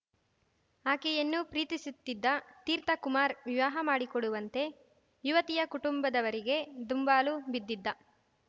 ಆಕೆಯನ್ನು ಪ್ರೀತಿಸುತ್ತಿದ್ದ ತೀರ್ಥ ಕುಮಾರ್ ವಿವಾಹ ಮಾಡಿಕೊಡುವಂತೆ ಯುವತಿಯ ಕುಟುಂಬದವರಿಗೆ ದುಂಬಾಲು ಬಿದ್ದಿದ್ದ